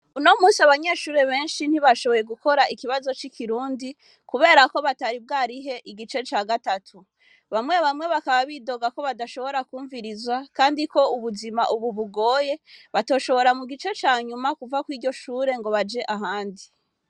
Uno munsi abanyeshure benshi ntibashoboye gukora ikibazo cikirundi kuberako batari bwarihe igice ca gatatu, bamwe bamwe bakaba bidoga ko badashobora kumvirizwa kandi ko ubuzima ubu bugoye batoshobora mugice canyuma kuva kuriryo shure ngo baje ahandi.